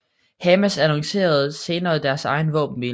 Hamas annoncerede senere deres egen våbenhvile